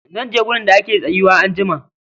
Zanje wurin da ake tsayuwa anjima